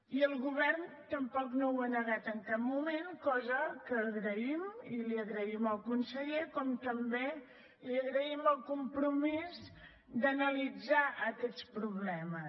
i el govern tampoc ho ha negat en cap moment cosa que agraïm i li ho agraïm al conseller com també li agraïm el compromís d’analitzar aquests problemes